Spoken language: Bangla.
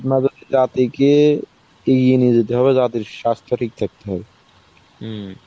থেকে ইয়ে নিয়ে যেতে হবে যাতে স্বাস্থ্য ঠিক থাকে.